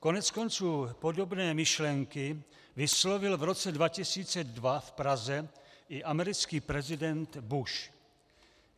Koneckonců podobné myšlenky vyslovil v roce 2002 v Praze i americký prezident Bush.